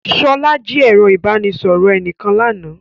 Sola jí ẹ̀rọ ìbánisọ̀rọ̀ ẹnìkan lánàá